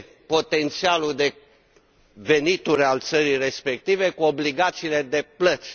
potențialul de venituri al țării respective cu obligațiile de plăți.